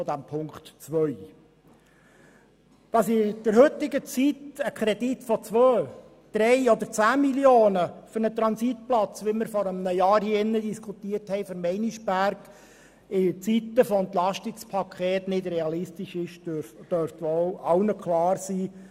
Dass zu heutigen Zeiten von Entlastungspaketen Kredite von 2, 3 oder 10 Mio. Franken für einen Transitplatz, wie wir vor einem Jahr hier für Meinisberg diskutiert haben, nicht realistisch sind, dürfte wohl allen klar sein.